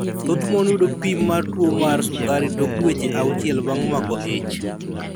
Thoth mon yudo pim mar tuwo mar sukari tok dueche auchiel bang' mako ich.